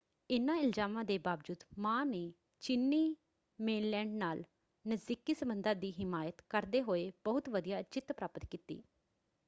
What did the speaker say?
ਇਨ੍ਹਾਂ ਇਲਜ਼ਾਮਾਂ ਦੇ ਬਾਵਜੂਦ ਮਾਂ ਨੇ ਚੀਨੀ ਮੇਨਲੈਂਡ ਨਾਲ ਨਜ਼ਦੀਕੀ ਸੰਬੰਧਾਂ ਦੀ ਹਿਮਾਇਤ ਕਰਦੇ ਹੋਏੇ ਬਹੁਤ ਵਧੀਆ ਜਿੱਤ ਪ੍ਰਾਪਤ ਕੀਤੀ।